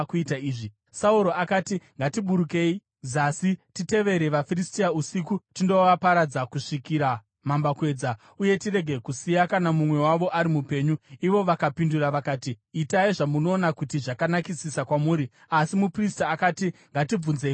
Sauro akati, “Ngatiburukei zasi titevere vaFiristia usiku tindovaparadza kusvikira mambakwedza, uye tirege kusiya kana mumwe wavo ari mupenyu.” Ivo vakapindura vakati, “Itai zvamunoona kuti zvakanakisisa kwamuri.” Asi muprista akati, “Ngatibvunzei Mwari pano.”